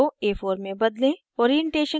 * page size को a4 में बदलें